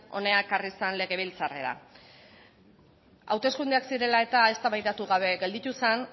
hona ekarri zen legebiltzarrera hauteskundeak zirela eta eztabaidatu gabe gelditu zen